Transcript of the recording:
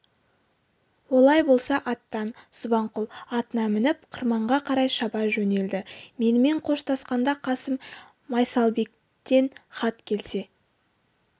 олай болса аттан субанқұл атына мініп қырманға қарай шаба жөнелді менімен қоштасқанда қасым майсалбектен хат келсе